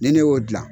Ni ne y'o dilan